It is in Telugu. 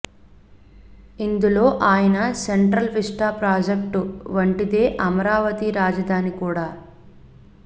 ఇందులో ఆయన సెంట్రల్ విస్టా ప్రాజెక్టు వంటిదే అమరావతి రాజధాని కూడా